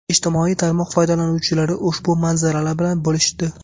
Ijtimoiy tarmoq foydalanuvchilari ushbu manzaralar bilan bo‘lishdi.